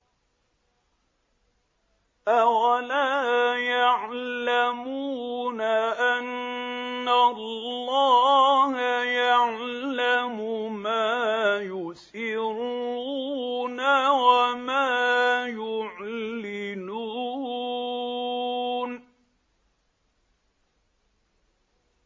أَوَلَا يَعْلَمُونَ أَنَّ اللَّهَ يَعْلَمُ مَا يُسِرُّونَ وَمَا يُعْلِنُونَ